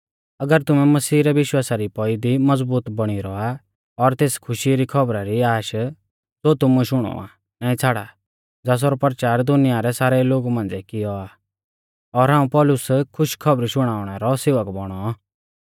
अगर तुमै मसीही रै विश्वासा री पौई दी मज़बूत बौणी रौआ और तेस खुशी री खौबरी री आश ज़ो तुमुऐ शुणौ आ नाईं छ़ाड़ा ज़ासरौ परचार दुनिया रै सारै लोगु मांझ़िऐ कियौ आ और हाऊं पौलुस खुश खौबरी शुणाउणै रौ सेवक बौणौ